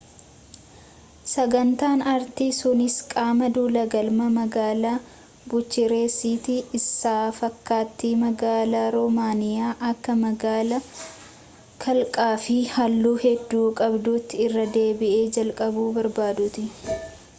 sagantaan artii sunis qaama duula galma magaalaa buchaarestii isa fakkaattii magaalaa romaaniyaa akka magaalaa kalaqaafi halluu hedduu qabduutti irra deebi'ee jalqabuu barbaaduuti